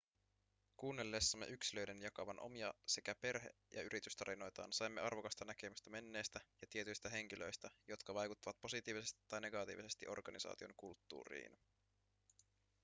kuunnellessamme yksilöiden jakavan omia sekä perhe- ja yritystarinoitaan saimme arvokasta näkemystä menneestä ja tietyistä henkilöistä jotka vaikuttivat positiivisesti tai negatiivisesti organisaation kulttuuriin